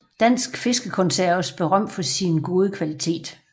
Dansk fiskekonserves berømt for sin gode kvalitet